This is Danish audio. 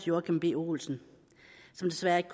joachim b olsen som desværre ikke